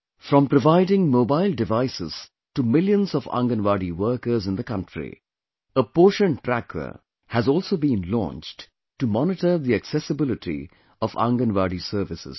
From providing mobile devices to millions of Anganwadi workers in the country, a Poshan Tracker has also been launched to monitor the accessibility of Anganwadi services